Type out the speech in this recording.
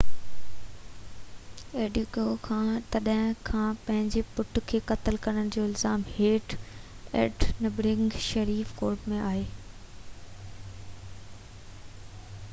ايڊيڪويا تڏهن کان پنهنجي پٽ کي قتل ڪرڻ جي الزام هيٺ ايڊنبرگ شيرف ڪورٽ ۾ آهي